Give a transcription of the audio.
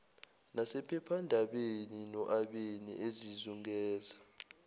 nasephephandabeni noabeni ezizungeza